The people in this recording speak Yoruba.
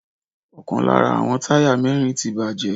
Ọkàn lára àwọn táyà mẹ́rin ti bàjẹ́.